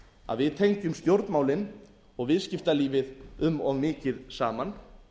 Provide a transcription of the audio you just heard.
að við fengjum stjórnmálin og viðskiptalífið um of mikið saman